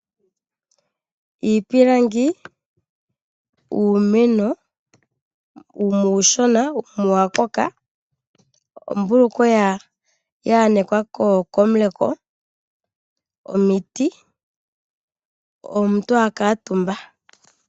Iipilangi, uumeno wumwe uushona wumwe owakoka. Ombulukweya yaanekwa komuleko, omiti, omuntu akaantumba.